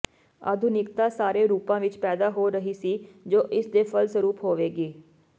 ਆਧੁਨਿਕਤਾ ਸਾਰੇ ਰੂਪਾਂ ਵਿੱਚ ਪੈਦਾ ਹੋ ਰਹੀ ਸੀ ਜੋ ਇਸ ਦੇ ਫਲਸਰੂਪ ਹੋਵੇਗੀ